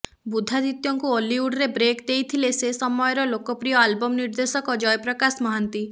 ବୁଦ୍ଧାଦିତ୍ୟଙ୍କୁ ଓଲିଉଡରେ ବ୍ରେକ୍ ଦେଇଥିଲେ ସେ ସମୟର ଲୋକପ୍ରିୟ ଆଲବମ୍ ନିର୍ଦ୍ଦେଶକ ଜୟପ୍ରକାଶ ମହାନ୍ତି